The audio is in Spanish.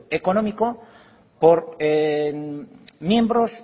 económico por miembros